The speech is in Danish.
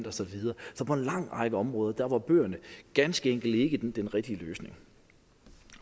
og så videre så på en lang række områder var bøgerne ganske enkelt ikke den rigtige løsning